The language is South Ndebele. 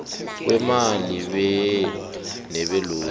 kweemali be nebelotto